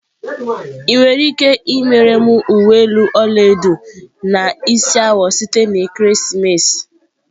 Ị nwere ike imere m uwe elu ọla edo na isi awọ site na ekeresimesi?